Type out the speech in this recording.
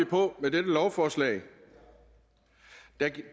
på med dette lovforslag